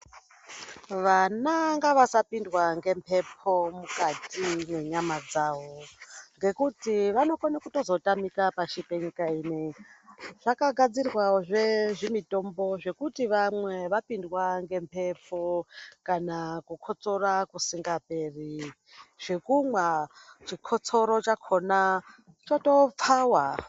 Vana ngavasa pindwa nge mhepo mukati mwe nyama dzavo ngekuti vano kone kutozoto tamika pashi pe nyika ino zvaka gadzirwa zve zvi mitombo zvekuti vamwe vapindwa nge mhepo kana ku kotsora kusinga peri zvekumwa chikotsoro chakona choto pfawa.